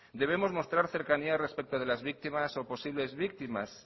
debemos mostrar cercanía respecto de las víctimas o posibles víctimas